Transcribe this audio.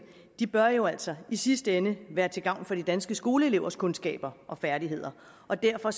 bør jo altså i sidste ende være til gavn for de danske skoleelevers kundskaber og færdigheder og derfor